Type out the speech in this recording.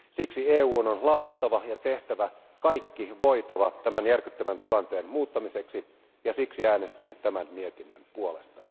Siksi EUn on lausuttava ja tehtävä kaikki voitava tämän järkyttävän tilanteen muuttamiseksi, ja siksi äänestin tämän mietinnön puolesta.